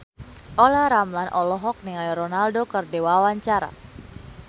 Olla Ramlan olohok ningali Ronaldo keur diwawancara